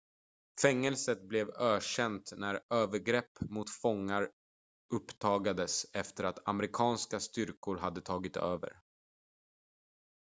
fängelset blev ökänt när övergrepp mot fångar uppdagades efter att amerikanska styrkor hade tagit över